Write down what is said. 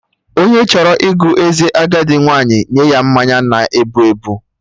Onye chọrọ ịgụ eze agadi nwaanyị nye ya mmanya na-ebu ebu